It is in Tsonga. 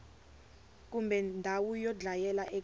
kumbe ndhawu yo dlayela eka